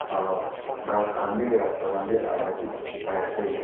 aru gass khan bhi rasta khan ahea tu dekhi pai ase.